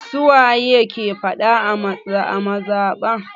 Su waye ke faɗa a mazaɓa?